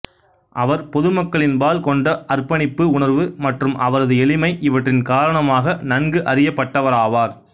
அவர் பொதுமக்களின்பால் கொண்ட அர்ப்பணிப்பு உணர்வு மற்றும் அவரது எளிமை இவற்றின் காரணமாக நன்கு அறியப்பட்டவராவார்